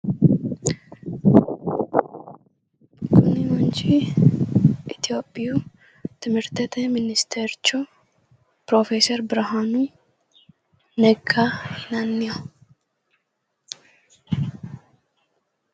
kuni manchi itiyopiyu timirtete ministercho pirofeeseri birhaanu negga yinanniho.